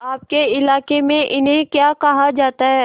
आपके इलाके में इन्हें क्या कहा जाता है